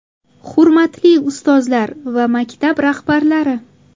Hurmatli ustozlar va maktab rahbarlari!